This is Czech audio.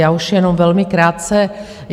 Já už jen velmi krátce.